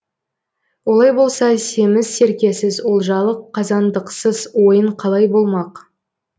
олай болса семіз серкесіз олжалы қазандықсыз ойын қалай болмақ